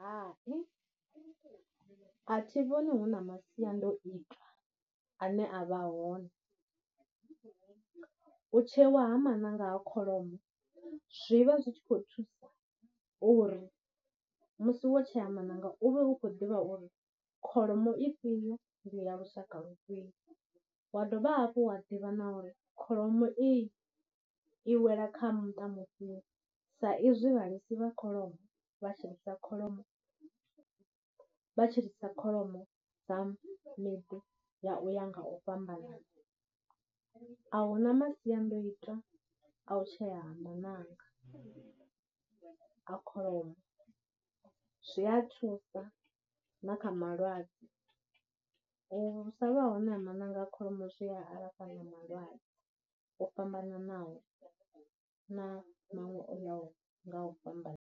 Hai, a thi vhoni huna masiandoitwa ane a vha hone, u tsheiwa ha maṋanga a kholomo zwi vha zwi tshi khou thusa uri musi wo tshea maṋanga u vhe u khou ḓivha uri kholomo ifhio ndi ya lushaka lufhio, wa dovha hafhu wa ḓivha na uri kholomo iyi i wela kha muṱa mufhio sa izwi vhalisa vha kholomo vha tshilisa kholomo vha tshilisa kholomo dza miḓi ya u ya nga u fhambanana, ahuna masiandoitwa a u tshea ha maṋanga a kholomo, zwi Ya thusa na kha malwadze. U sa vha hone ha mananga a kholomo zwi a alafha na malwadze o fhambananaho na maṅwe o yaho nga u fhambana.